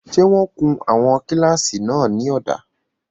Ṣé wọ́n kun àwọn kílásì náà ní ọ̀dà?